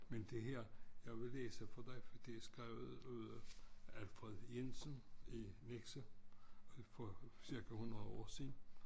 Men det her jeg vil læse for dig for det er skrevet af Alfred Jensen i Nexø for cirka 100 år siden